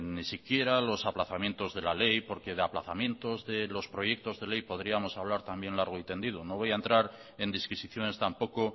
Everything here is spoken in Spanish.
ni siquiera los aplazamientos de la ley porque de aplazamientos de los proyectos de ley podríamos hablar también largo y tendido no voy a entrar en disquisiciones tampoco